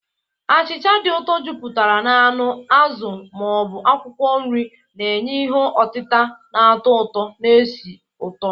Achịcha dị ụtọ, jupụtara na anụ, azụ, ma ọ bụ akwụkwọ nri, na-enye ihe otita na-atọ ụtọ na esi ụtọ.